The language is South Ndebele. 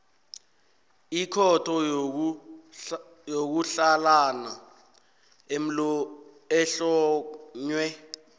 ikhotho yokutlhalana ehlonywe